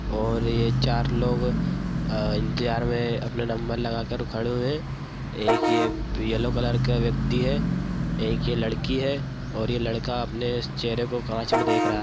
और ये चार लोग अ इंतजार मे अपने नंबर लगा कर खड़े हुए है एक ये येलो कलर का व्यक्ति है एक ये लड़की है और ये लड़का अपने चेहरे को कांच मे देख रहा है।